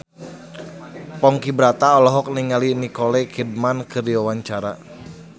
Ponky Brata olohok ningali Nicole Kidman keur diwawancara